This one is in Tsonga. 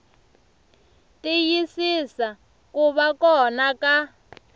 tiyisisa ku va kona ka